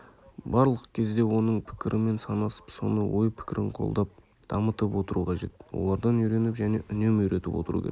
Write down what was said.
барлық кезде оның пікірімен санасып соны ой-пікірін қолдап дамытып отыру қажет олардан үйреніп және үнемі үйретіп отыру керек